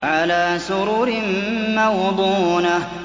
عَلَىٰ سُرُرٍ مَّوْضُونَةٍ